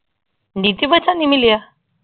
ਨੀਤੀ ਬੱਚਨ ਨਹੀਂ ਮਿਲਿਆ?